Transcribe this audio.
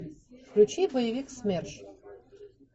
включи боевик смерш